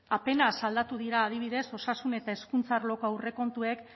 apenas aldatu dira adibidez osasun eta hezkuntza arloko aurrekontuek